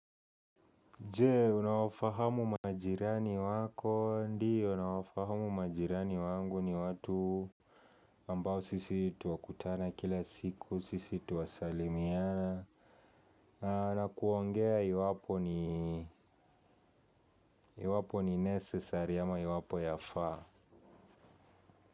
Je, unawafahamu majirani wako ndio, nawafahamu majirani wangu ni watu ambao sisi twakutana kila siku, sisi twasalimiana na kuongea iwapo ni iwapo ni necessary ama iwapo yafaa.